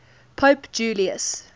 pope julius